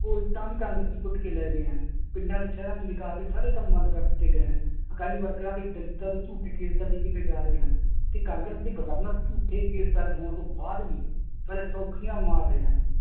ਉਹ ਇੱਟਾਂ ਵੀ ਕਾਂਗਰਸੀ ਪੁੱਟ ਕੇ ਲੈ ਗਏ ਹਨ, ਪਿੰਡਾਂ ਤੇ ਸ਼ਹਿਰਾਂ ਚ ਵਿਕਾਸ ਦੇ ਸਾਰੇ ਕੰਮ ਬੰਦ ਕਰ ਦਿੱਤੇ ਗਏ ਹਨ, ਅਕਾਲੀ ਵਰਕਰਾਂ ਤੇ ਦਲਿੱਤਾਂ ਤੇ ਝੂਠੇ case ਦਰਜ਼ ਕੀਤੇ ਜਾ ਰਹੇ ਹਨ, ਤੇ ਕਾਂਗਰਸ ਦੇ ਗਵਰਨਰ ਝੂਠੇ case ਦਰਜ਼ ਹੋਣ ਤੋਂ ਬਾਅਦ ਵੀ ਸਾਲੇ ਸੌਖੀਆਂ ਮਾਰ ਰਹੇ ਹਨ,